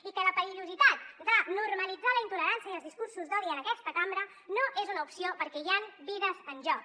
i que la perillositat de normalitzar la intolerància i els discursos d’odi en aquesta cambra no és una opció perquè hi ha vides en joc